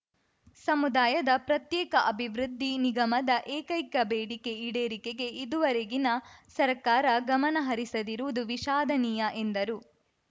ಸಮುದಾಯದ ಪ್ರತ್ಯೇಕ ಅಭಿವೃದ್ಧಿ ನಿಗಮದ ಏಕೈಕ ಬೇಡಿಕೆ ಈಡೇರಿಕೆಗೆ ಇದುವರೆಗಿನ ಸರ್ಕಾರ ಗಮನಹರಿಸದಿರುವುದು ವಿಷಾದನೀಯ ಎಂದರು